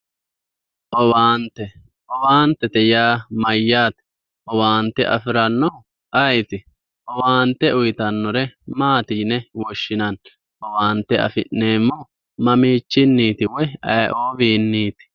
owaante owaantete yaa mayyaate? owaante afirannohu ayeeti? owaante uyiitannore maati yine woshshinani? owaante afi'neemmohu mammichinniiti woyi aye"owiinniiti?